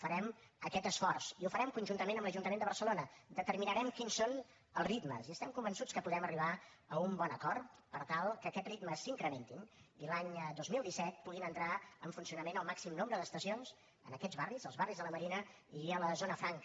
farem aquest esforç i ho farem conjuntament amb l’ajuntament de barcelona determinarem quins són els ritmes i estem convençuts que podem arribar a un bon acord per tal que aquests ritmes s’incrementin i l’any dos mil disset puguin entrar en funcionament el màxim nombre d’estacions en aquests barris els barris de la marina a la zona franca